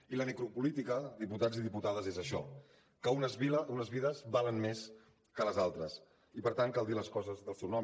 i la necropolítica diputats i diputades és això que unes vides valen més que les altres i per tant cal dir les coses pel seu nom